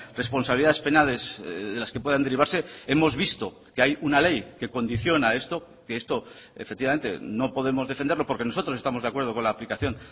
responsabilidades penales de las que puedan derivarse hemos visto que hay una ley que condiciona esto que esto efectivamente no podemos defenderlo porque nosotros estamos de acuerdo con la aplicación